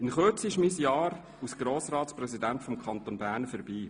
In Kürze ist mein Jahr als Grossratspräsident des Kantons Bern vorbei.